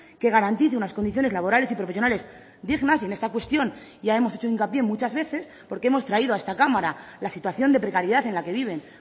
que garantice unas condiciones laborales y profesionales dignas y en esta cuestión ya hemos hecho hincapié muchas veces porque hemos traído a esta cámara la situación de precariedad en la que viven